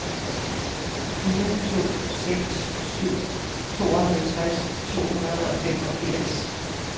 fire to seks syv tooghalvtreds to hundrede og femogfirs